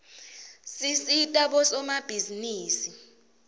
tisita bosomabhizinisi